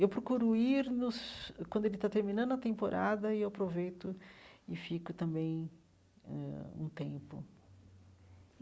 Eu procuro ir nos quando ele está terminando a temporada e aproveito e fico também eh um tempo.